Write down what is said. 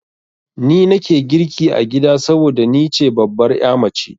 Ni nake girki a gida saboda ni ce babbar ya mace.